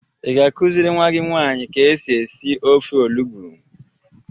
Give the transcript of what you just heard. Ị ga-akụziri nwa gị nwanyị ka esi esi ofe olugbu?